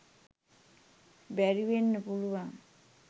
බැරිවෙන්න පුළුවන්.